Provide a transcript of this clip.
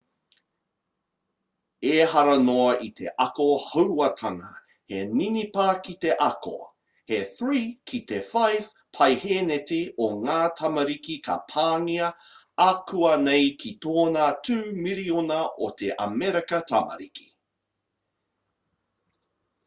ehara noa i te ako hauātanga he ninipa ki te ako he 3 ki te 5 paeheneti o ngā tamariki ka pāngia akuanei ko tōna 2 miriona o ā amerika tamariki